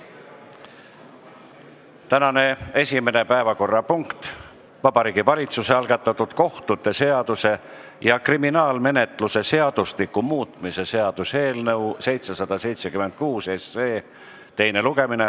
Tänane esimene päevakorrapunkt on Vabariigi Valitsuse algatatud kohtute seaduse ja kriminaalmenetluse seadustiku muutmise seaduse eelnõu 776 teine lugemine.